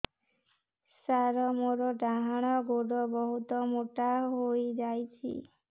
ସାର ମୋର ଡାହାଣ ଗୋଡୋ ବହୁତ ମୋଟା ହେଇଯାଇଛି